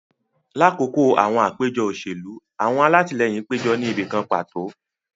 Lakoko awọn apejọ oselu, awọn alatilẹyin pejọ ni ibi kan pato